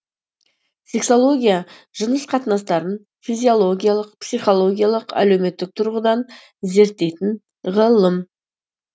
сексология жыныс қатынастарын физиологиялық психологиялық әлеуметтік тұрғыдан зерттейтін ғылым